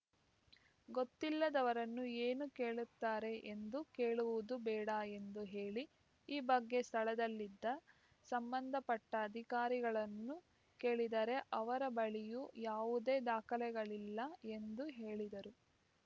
ಗೊತ್ತಿಲ್ಲದವರನ್ನು ಏನು ಕೇಳುತ್ತಾರೆ ಎಂದು ಕೇಳುವುದು ಬೇಡ ಎಂದು ಹೇಳಿ ಈ ಬಗ್ಗೆ ಸ್ಥಳದಲ್ಲಿದ್ದ ಸಂಬಂಧ ಪಟ್ಟಅಧಿಕಾರಿಗಳನ್ನು ಕೇಳಿದರೆ ಅವರ ಬಳಿಯೂ ಯಾವುದೇ ದಾಖಲೆಗಳಿಲ್ಲ ಎಂದು ಹೇಳಿದರು